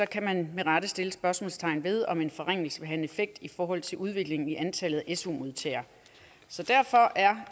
kan man med rette sætte spørgsmålstegn ved om en forringelse vil have en effekt i forhold til udviklingen i antallet af su modtagere derfor er